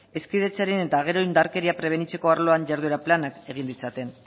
hezkidetzaren eta gero indarkeria prebenitzeko arloan jarduera planak egin ditzaten